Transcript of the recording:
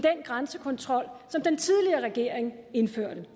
grænsekontrol som den tidligere regering indførte